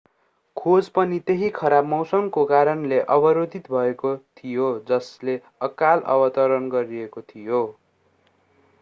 खोज पनि त्यही खराब मौसमको कारणले अवरोधित भएको थियो जसले अकाल अवतरण गराएको थियो